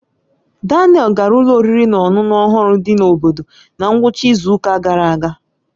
Daniel gara ụlọ oriri na ọṅụṅụ ọhụrụ dị n'obodo na ngwụcha izu ụka gara aga.